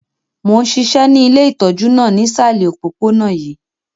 Mo n ṣiṣẹ́ ni ile itọju náà nisalẹ̀ opopona yii.